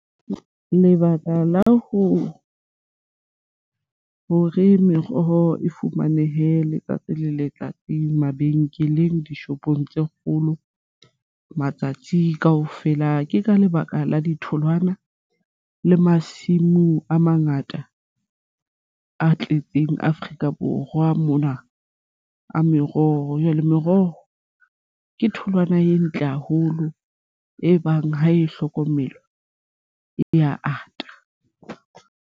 Lebaka la ho hore meroho e fumanehe letsatsi le letsatsi mabenkeleng, dishopong tse kgolo matsatsi kaofela ke ka lebaka la ditholwana le masimu a mangata a tletseng Afrika Borwa mona a meroho. Jwale meroho ke tholwana e ntle haholo ebang ha e hlokomelwa e ya ata.